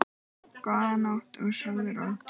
Góða nótt og sofðu rótt.